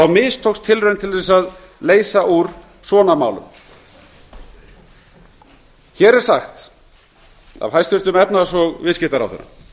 mistókst tilraun til að leysa úr svona málum hér er sagt af hæstvirtum efnahags og viðskiptaráðherra